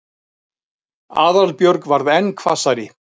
Aðalbjörg varð enn hvassari.